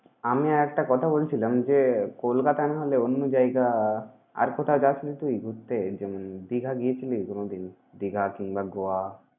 আমি আর একটা কথা বলছিলাম যে, কলকাতা না হলে অন্য জায়গা। আর কোথাও যাসনি তুই ঘুরতে? যেমন দীঘা গিয়েছিলি কোনদিন? দীঘা কিংবা গোয়া?